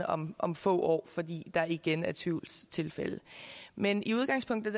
om om få år fordi der igen er tvivlstilfælde men i udgangspunktet